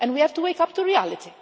And we have to wake up to reality.